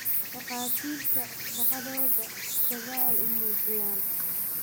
Dakatirtaa shagadodha dadhal uumujiyan.